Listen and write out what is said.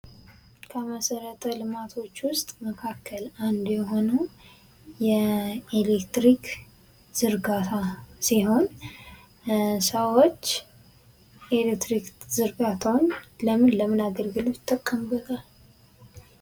ከመሠረተ ልማቶች ውስጥ መካከል አንዱ የሆነው የኤሌክትሪክ ዝርጋታ ሲሆን፤ ሰዎች የኤሌክትሪክ ዝርጋታውን ለምን ለምን አገልግሎት ይጠቀሙበታል?